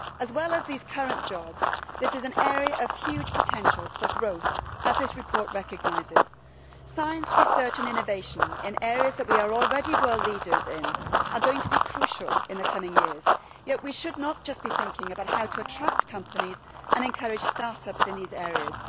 As well as these current jobs, this is an area of huge potential for growth, as this report recognises. Science, research and innovation in areas in which we are already world leaders are going to be crucial in the coming years, yet we should not just be thinking about how to attract companies and encourage start ups in these areas.